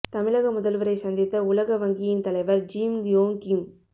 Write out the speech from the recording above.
தமிழக முதல்வரை சந்தித்த உலக வங்கியின் தலைவர் ஜிம் யோங் கிம்